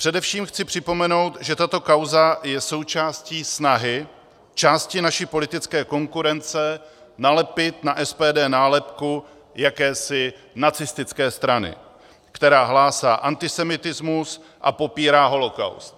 Především chci připomenout, že tato kauza je součástí snahy části naší politické konkurence nalepit na SPD nálepku jakési nacistické strany, která hlásí antisemitismus a popírá holokaust.